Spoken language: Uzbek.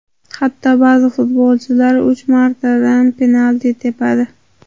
Hatto ba’zi futbolchilar uch martadan penalti tepadi.